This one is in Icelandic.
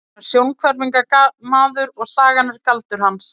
Hann er sjónhverfingamaður og sagan er galdur hans.